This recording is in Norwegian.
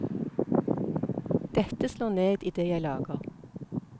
Dette slår ned i det jeg lager.